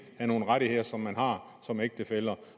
af nogle rettigheder som man har som ægtefæller